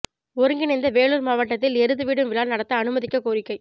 ஒருங்கிணைந்த வேலுா் மாவட்டத்தில் எருது விடும் விழா நடத்த அனுமதிக்கக் கோரிக்கை